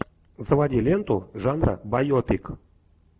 заводи ленту жанра байопик